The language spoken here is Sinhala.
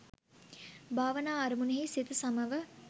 භාවනා අරමුණෙහි සිත සමව